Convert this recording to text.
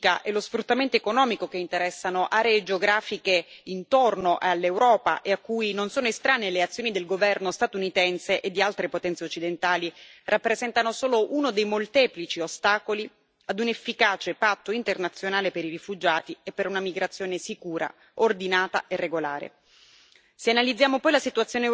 Le guerre, la destabilizzazione politica e lo sfruttamento economico che interessano aree geografiche intorno all'Europa e a cui non sono estranee le azioni del governo statunitense e di altre potenze occidentali rappresentano solo uno dei molteplici ostacoli a un'efficace patto internazionale per i rifugiati e per una migrazione sicura, ordinata e regolare.